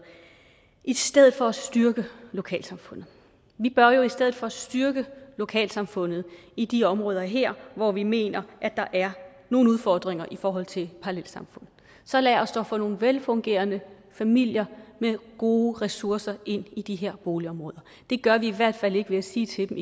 i stedet for at styrke lokalsamfundet vi bør jo i stedet for styrke lokalsamfundet i de områder her hvor vi mener at der er nogle udfordringer i forhold til parallelsamfund så lad os dog få nogle velfungerende familier med gode ressourcer ind i de her boligområder det gør vi i hvert fald ikke ved at sige til dem